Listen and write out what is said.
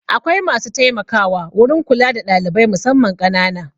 Akwai masu taimakawa wurin kula da ɗalibai musamman ƙanana.